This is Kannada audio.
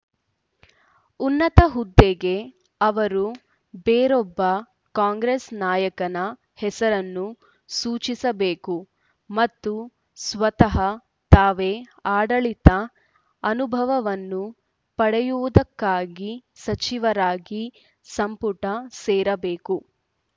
ಉನ್ನತ ಹುದ್ದೆಗೆ ಅವರು ಬೇರೊಬ್ಬ ಕಾಂಗ್ರೆಸ್‌ ನಾಯಕನ ಹೆಸರನ್ನು ಸೂಚಿಸಬೇಕು ಮತ್ತು ಸ್ವತಃ ತಾವೇ ಆಡಳಿತದ ಅನುಭವವನ್ನು ಪಡೆಯುವುದಕ್ಕಾಗಿ ಸಚಿವರಾಗಿ ಸಂಪುಟ ಸೇರಬೇಕು